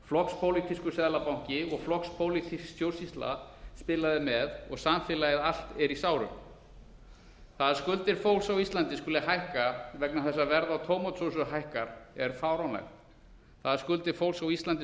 flokkspólitískur seðlabanki og flokkspólitísk stjórnsýsla spilaði með og samfélagið allt er í sárum það að skuldir fólks á íslandi skuli hækka vegna þess að verð á tómatsósu hækkar er fáránlegt það að skuldir fólks á íslandi